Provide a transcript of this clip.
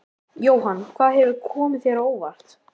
Jóhann: Hvað hefur komið þér á óvart?